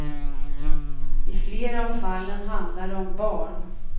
I flera av fallen handlar det om barn.